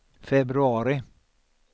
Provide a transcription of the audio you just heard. februari